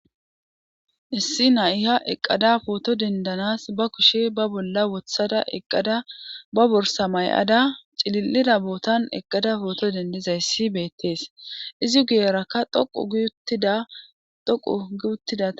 issi na'iya eqqada pooto dendanas ba kushe ba bolla wothada eqqada ba borsa may7ada cilillida bootan eqqada pooto dendizayssi beettees izi guyerakka dhoqu gi uttida.